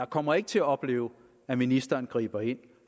kommer ikke til at opleve at ministeren griber ind